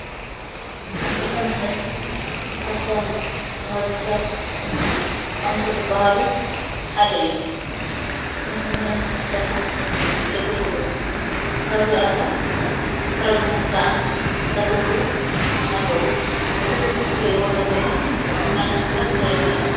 ኣትክልትን ኣሕምልትን ካብቶም ንወድሰብ ጠቐምቲ ዝብሃሉ ሓደ እዩ። ንምግብነት ድማ የግልግሉ። ካብዚኣቶም ፍረ ብምዉፃእ ዘገልግሉ ኣለዉ። እቲ እትርእይዎ ዘለኹም ዓይነት ፍረ እንታይ ይብሃል?